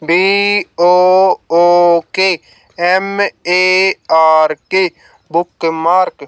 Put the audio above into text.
bookmark